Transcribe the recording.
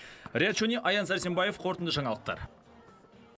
риат шони аян сәрсенбаев қорытынды жаңалықтар